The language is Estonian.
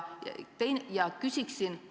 Ma küsiksin seda.